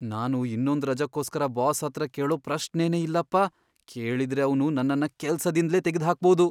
ನಾನು ಇನ್ನೊಂದ್ ರಜಕ್ಕೋಸ್ಕರ ಬಾಸ್ ಹತ್ರ ಕೇಳೋ ಪ್ರಶ್ನೆನೇ ಇಲ್ಲಪ್ಪ. ಕೇಳಿದ್ರೆ ಅವ್ನು ನನ್ನನ್ನ ಕೆಲ್ಸದಿಂದ್ಲೇ ತೆಗ್ದ್ ಹಾಕ್ಬೋದು.